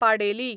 पाडेली